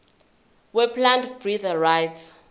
weplant breeders rights